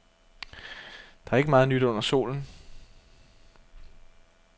Der er ikke meget nyt under solen.